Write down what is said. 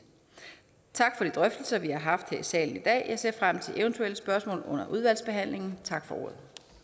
tak for de drøftelser vi har haft her i salen i dag jeg ser frem til eventuelle spørgsmål under udvalgsbehandlingen tak for